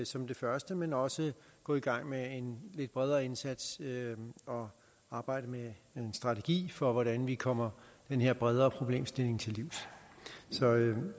som det første men også går i gang med en lidt bredere indsats og arbejder med en strategi for hvordan vi kommer den her bredere problemstilling til livs så